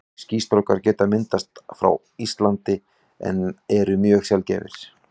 Skýstrókar geta myndast á Íslandi en eru mjög sjaldgæfir.